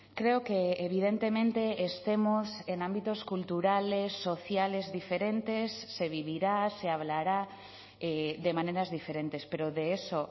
creo que evidentemente estemos en ámbitos culturales sociales diferentes se vivirá se hablará de maneras diferentes pero de eso